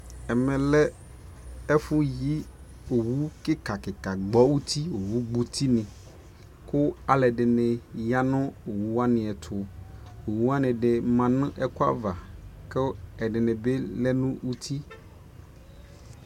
ɛmɛ lɛ ɛƒʋ yii ɔwʋ kika kika ka gbɔ ʋti, ɔgbɔ ʋti ni kʋ alʋɛdini yanʋ ɔwʋ wani ɛtʋ, ɔwʋ wani manʋ ɛkʋ aɣa kʋ ɛdini bi lɛnʋ ʋti